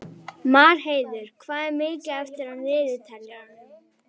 Marheiður, hvað er mikið eftir af niðurteljaranum?